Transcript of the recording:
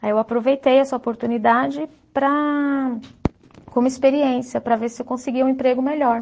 Aí eu aproveitei essa oportunidade para, como experiência, para ver se eu conseguia um emprego melhor.